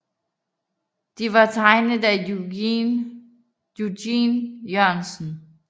De var tegnet af Eugen Jørgensen